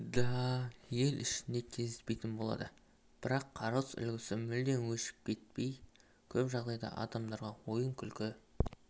да ел ішінде кездеспейтін болады бірақ қарғыс үлгісі мүлде өшіп кетпей көп жағдайда адамдарға ойын-күлкі